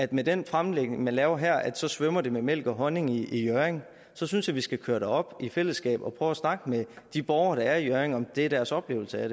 den fremlægning man laver her svømmer i mælk og honning i hjørring så synes jeg vi skal køre derop i fællesskab og prøve at snakke med de borgere der er i hjørring om hvorvidt det er deres oplevelse af